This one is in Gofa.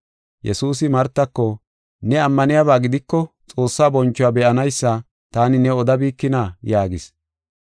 Yesuusi Martako, “Ne ammaniyaba gidiko Xoossaa bonchuwa be7anaysa taani new odabikina?” yaagis.